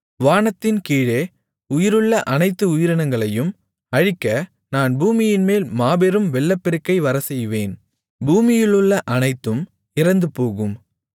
வானத்தின்கீழே உயிருள்ள அனைத்து உயிரினங்களையும் அழிக்க நான் பூமியின்மேல் மாபெரும் வெள்ளப்பெருக்கை வரச்செய்வேன் பூமியிலுள்ள அனைத்தும் இறந்துபோகும்